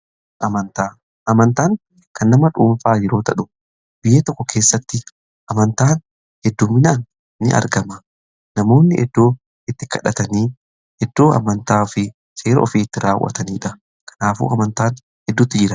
Amantaan kan nama dhuunfaa yeroo tahu biyya tokko keessatti amantaan hedduuminaan ni argama. Namoonni iddoo itti kadhatanii iddoo amantaa fi seera ofi itti raawwataniidha. Kanaafuu amantaan hedduutu jira.